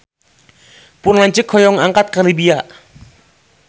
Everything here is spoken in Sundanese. Pun lanceuk hoyong angkat ka Libya